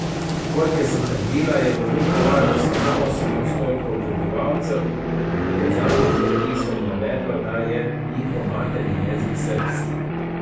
Kot je zatrdila, je v Vukovarju samo osem odstotkov prebivalcev med zadnjim popisom navedlo, da je njihov materni jezik srbski.